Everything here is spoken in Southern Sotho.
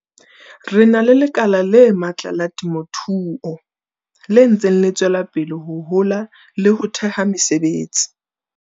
Re na le lekala le matla la temothuo le ntseng le tswela pele ho hola le ho theha mesebetsi.